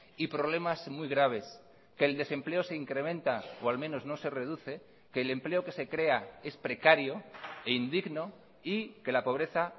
y problemas muy graves que el desempleo se incrementa o al menos no se reduce que el empleo que se crea es precario e indigno y que la pobreza